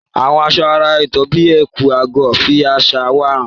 Àwọn aṣọ àrà ọ̀tọ̀ bíi ẹ̀kú/agọ́ fi àṣà wa hàn.